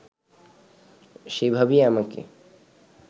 সেভাবেই আমাকে